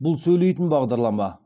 бұл сөйлейтін бағдарлама